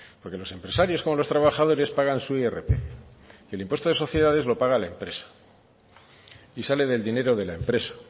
porque los empresarios como los trabajadores pagan su irpf el impuesto de sociedades lo paga la empresa y sale del dinero de la empresa